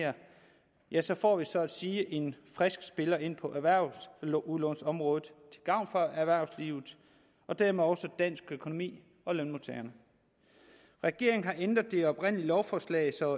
ja så får vi så at sige en frisk spiller ind på erhvervsudlånsområdet til gavn for erhvervslivet og dermed også dansk økonomi og lønmodtagerne regeringen har ændret det oprindelige lovforslag så